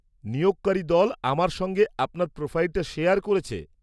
-নিয়োগকারী দল আমার সঙ্গে আপনার প্রোফাইলটা শেয়ার করেছে।